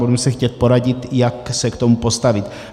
Budeme se chtít poradit, jak se k tomu postavit.